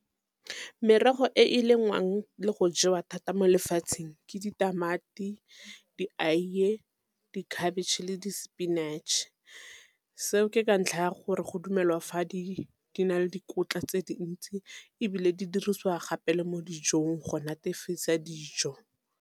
Merogo e e lengwang le go jewa thata mo lefatsheng ke ditamati, dieiye, dikhabitšhe le di-spinach. Seo ke ka ntlha ya gore go dumelwa fa di na le dikotla tse dintsi, ebile di dirisiwa gape le mo dijong go netefisa dijo.